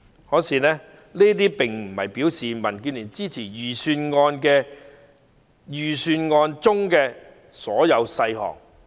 然而，這並不代表民建聯支持預算案中所有細項。